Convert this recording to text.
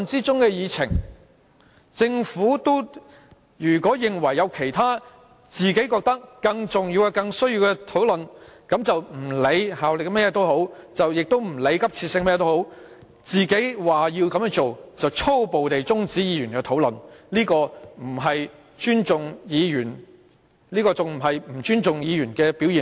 政府如果認為有其他更重要的事項，就連我們在討論中的法案也不用理會其效力或急切性，便粗暴地中止議員的討論，這不是對議員不尊重的表現嗎？